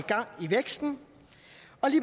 og det